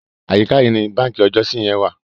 Àyíká yìí ni báǹkì ọjọ́si yẹn wà.